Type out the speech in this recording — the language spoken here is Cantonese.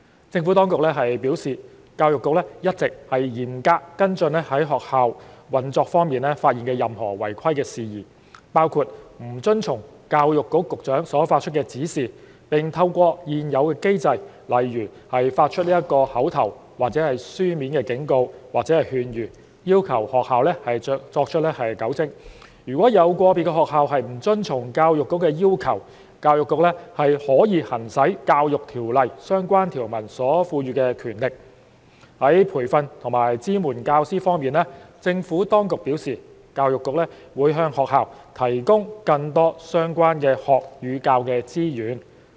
政府當局表示，教育局一直嚴格跟進在學校運作方面發現的任何違規事宜，並透過現有機制，例如發出口頭或書面警告或勸諭，要求學校作出糾正。如果有個別學校不遵從教育局的要求，教育局可行使《教育條例》相關條文所賦予的權力。在培訓及支援教師方面，政府當局表示，教育局會向學校提供更多相關學與教的資源。